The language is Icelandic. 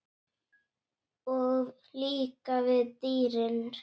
Og líka við dýrin.